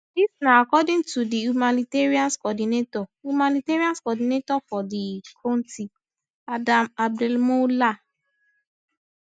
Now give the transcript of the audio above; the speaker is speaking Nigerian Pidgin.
dis na according to di humanitarian coordinator humanitarian coordinator for di kontri adam abdelmoula